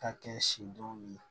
Ka kɛ sidɔn ye